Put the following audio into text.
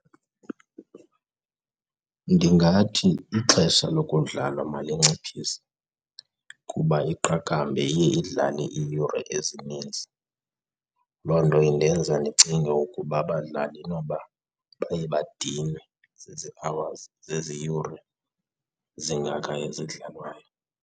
Ndingathi ixesha lokudlalwa malinciphise kuba iqakamba iye idlale iiyure ezininzi. Loo nto indenza ndicinge ukuba abadlali inoba baye badinwe zezi-hours, zezi yure zingaka ezidlalwayo.